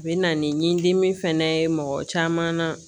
U bɛ na ni dimi fana ye mɔgɔ caman